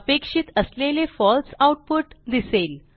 अपेक्षित असलेले फळसे आऊटपुट दिसेल